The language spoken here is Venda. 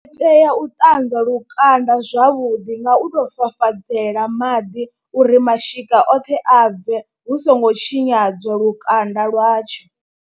Ndi tea u ṱanzwa lukanda zwavhuḓi nga u tou fafadzela maḓi uri mashika oṱhe a bve hu songo tshinyadzwa lukanda lwa lwatsho.